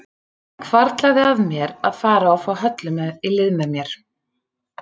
Það hvarflaði að mér að fara og fá Höllu í lið með mér.